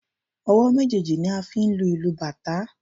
Ọwọ́ méjèèjì ni a fi ń lu ìlù bàtá.